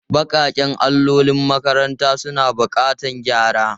Baƙaƙen allolin makarantar suna buƙatar gyara.